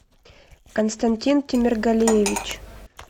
константин темиргалиевич